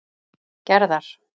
Gerðar